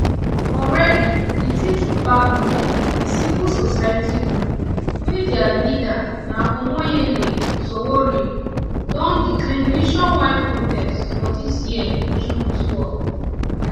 already di take it back movement a civil society group wey dia leader na omoyele sowore don declare nationwide protest for dis year year june twelve